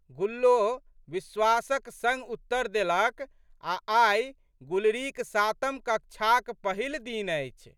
गुल्लो विश्वासक संग उत्तर देलक आ' आइ गुलरीक सातम कक्षाक पहिल दिन अछि।